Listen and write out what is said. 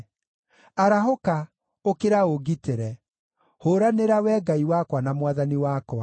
Arahũka, ũkĩra ũngitĩre! Hũũranĩra, Wee Ngai wakwa na Mwathani wakwa.